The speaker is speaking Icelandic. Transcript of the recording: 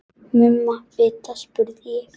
Mumma vita, spurði ég.